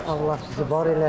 Allah sizi var eləsin.